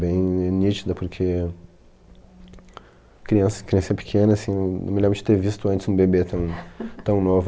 Bem nítida, porque criança criancinha pequena, assim, não me lembro de ter visto antes um bebê tão tão novo.